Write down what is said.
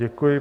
Děkuji.